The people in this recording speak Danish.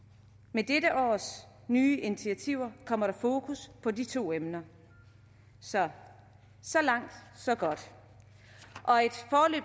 med dette års nye initiativer kommer der fokus på de to emner så så langt så godt